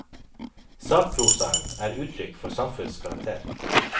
Sakprosaen er uttrykk for samfunnets karakter.